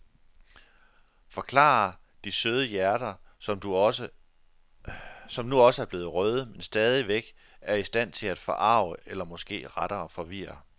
Forklarer de søde hjerter, som nu også er blevet røde, men stadigvæk er i stand til at forarge eller måske rettere forvirre.